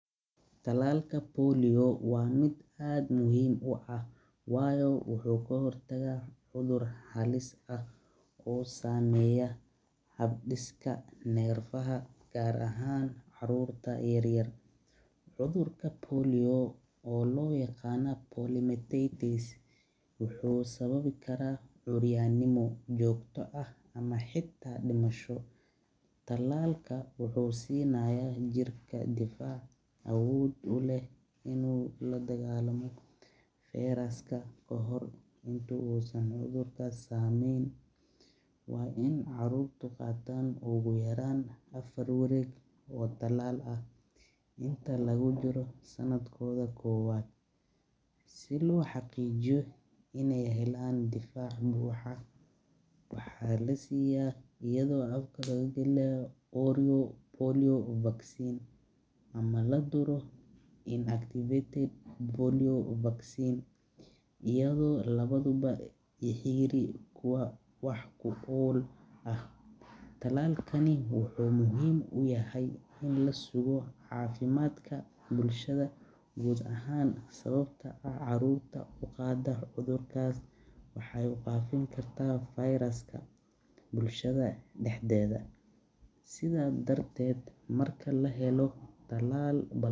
Talaalka waa mid aad muhiim u ah, wuxuu kahor taga cudur halis ah, gaar ahaan caruurta Yaryar, wuxuu sababi kara curyanimo iyo dimasho, waa in cariurtu qaatan afar wareeg oo talaal ah, si loo xaqiijiyo inaay helaan difaac buxio, ama laduro, aygo ah kuwa wax ku ool ah, guud ahaan sababta caruurta waxeey fafin karta bulshada dexdeeda.